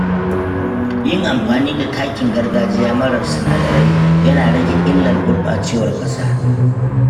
Yin amfani da takin gargajiya marar sinadarai yana rage illar gurɓacewar ƙasa.